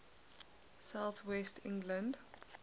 south west england